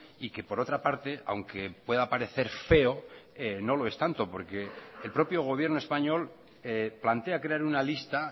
y que por otra parte aunque pueda parecer feo no lo es tanto porque el propio gobierno español plantea crear una lista